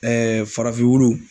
Ɛɛ farafin wulu